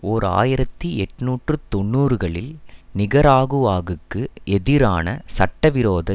ஓர் ஆயிரத்தி எட்ணூற்று தொன்னூறுகளில் நிகராகுஆகுக்கு எதிரான சட்டவிரோத